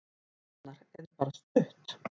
Arnar: En bara stutt.